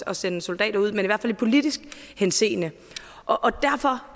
at sende soldater ud i hvert fald i politisk henseende og derfor